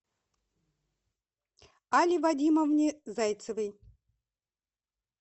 алле вадимовне зайцевой